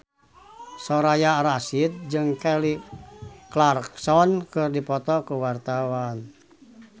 Soraya Rasyid jeung Kelly Clarkson keur dipoto ku wartawan